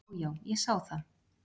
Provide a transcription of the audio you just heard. """Já, já, ég sá það."""